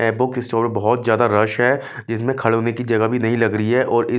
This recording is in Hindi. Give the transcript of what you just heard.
बुक स्टोर में बहुत ज्यादा रश है इसमें खड़े होने की जगह भी नहीं लग रही है और इ --